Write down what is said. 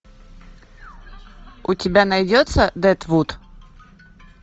у тебя найдется дедвуд